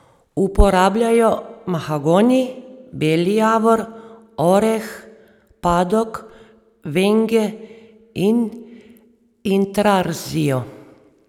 Uporabljajo mahagoni, beli javor, oreh, padok, venge in intarzijo.